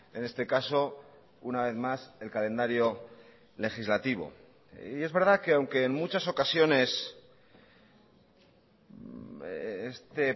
en este caso una vez más el calendario legislativo y es verdad que aunque en muchas ocasiones este